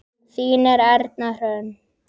Þín Erna Hrönn.